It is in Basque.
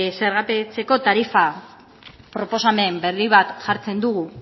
zergapetzeko tarifa proposamen berri bat jartzen dugu